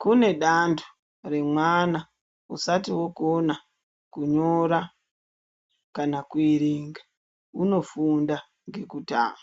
kune danto remwana usati okona kunyora kana kuerenga unofunda ngekutamba.